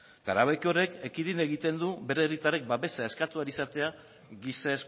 eta erabaki horrek ekidin egiten du bere herritarrek babesa eskatu ahal izatea giza